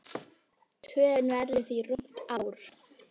Töfin verður því rúmt ár.